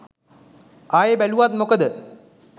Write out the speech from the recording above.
ආයෙ බැලුවත් මොකද.